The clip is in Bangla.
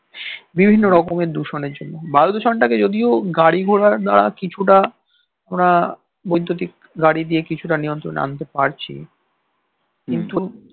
বিভিন্ন রকম এর দূষণের জন্যে বায়ু দূষণ টা কে যদিও গাড়িঘোড়া বা কিছুটা ওরা বৈদুতিক গাড়ি দিয়ে কিছুটা নিয়ন্ত্রণে আন্তে পারছে কিন্তু